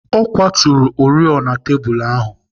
Ọ kwaturu oriọna tebụl ahụ.